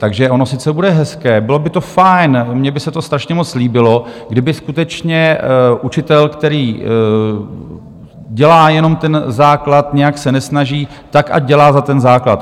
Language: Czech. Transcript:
Takže ono sice bude hezké, bylo by to fajn, mně by se to strašně moc líbilo, kdyby skutečně učitel, který dělá jenom ten základ, nějak se nesnaží, tak ať dělá za ten základ.